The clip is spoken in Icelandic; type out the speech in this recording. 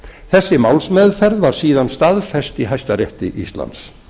þessi málsmeðferð var síðan staðfest í hæstarétti íslands